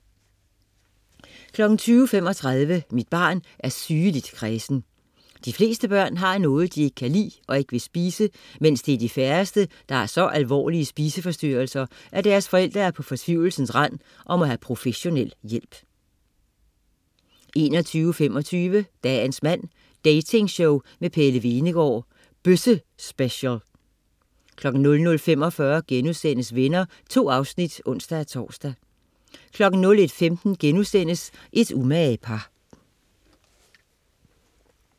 20.35 Mit barn er sygeligt kræsent. De fleste børn har noget, de ikke kan lide og ikke vil spise, men det er de færreste, der har så alvorlige spiseforstyrrelser, at deres forældre er på fortvivlelsens rand og må have professionel hjælp 21.25 Dagens mand. Dating-show med Pelle Hvenegaard. Bøssespecial 00.45 Venner.* 2 afsnit (ons-tors) 01.15 Et umage par*